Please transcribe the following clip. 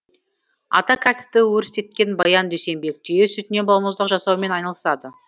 ата кәсіпті өрістеткен баян дүйсенбек түйе сүтінен балмұздақ жасаумен айналысады